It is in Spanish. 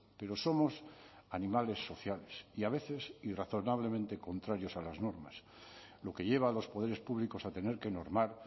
pero somos animales sociales y a veces razonablemente contrarios a las normas lo que lleva a los poderes públicos a tener que normar